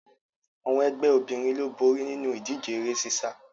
Àwọn ẹgbẹ́ obìnrin ló borí nínu ìdíje eré sísá